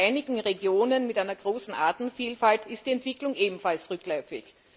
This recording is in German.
Bei einigen Regionen mit einer großen Artenvielfalt ist die Entwicklung ebenfalls rückläufig.